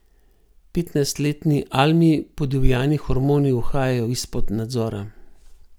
Petnajstletni Almi podivjani hormoni uhajajo izpod nadzora.